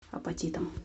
апатитам